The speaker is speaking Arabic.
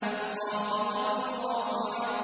خَافِضَةٌ رَّافِعَةٌ